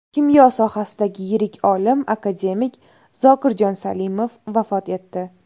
Kimyo sohasidagi yirik olim, akademik Zokirjon Salimov vafot etdi.